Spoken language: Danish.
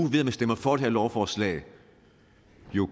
stemmer for det her lovforslag